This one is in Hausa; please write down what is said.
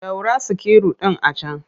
Ɗaura sikiru ɗin a can!